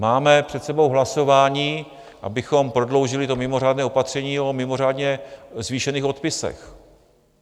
Máme před sebou hlasování, abychom prodloužili to mimořádné opatření o mimořádně zvýšených odpisech.